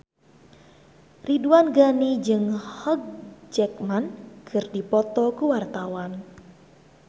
Ridwan Ghani jeung Hugh Jackman keur dipoto ku wartawan